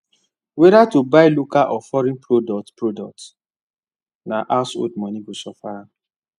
whether to buy local or foreign products products na household money go suffer am